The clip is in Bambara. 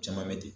Caman bɛ ten